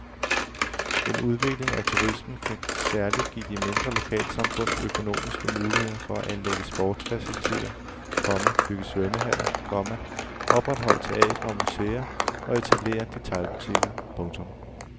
En udvikling af turismen kan særlig give de mindre lokalsamfund økonomiske muligheder for at anlægge sportsfaciliteter, komma bygge svømmehaller, komma opretholde teatre og museer og etablere detailbutikker. punktum